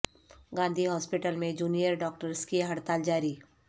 Gandhi hospital میں junior doctors کی ہڑتال جاری